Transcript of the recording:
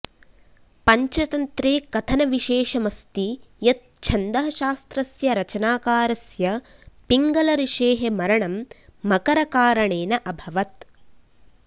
पञ्चतन्त्रे कथनविशेषमस्ति यत् छन्दःशास्त्रस्य रचनाकारस्य पिङ्गलऋषेः मरणं मकरकारणेन अभवत्